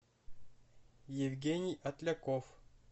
евгений отляков